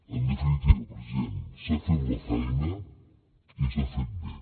en definitiva president s’ha fet la feina i s’ha fet bé